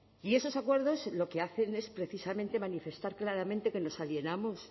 y esos acuerdos lo que hacen es precisamente manifestar claramente que nos alienamos